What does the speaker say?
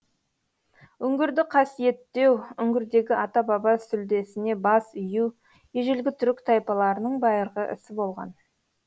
үңгірді қасиеттеу үңгірдегі ата баба сүлдесіне бас ию ежелгі түрік тайпаларының байырғы ісі болған